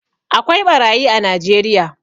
Akwai ɓarayi a najeriya